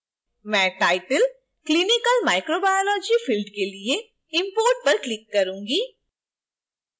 मैं title: clinical microbiology field के लिए import पर click करूंगी